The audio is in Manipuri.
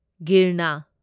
ꯒꯤꯔꯅ